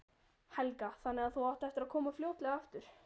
Helga: Þannig að þú átt eftir að koma fljótlega aftur?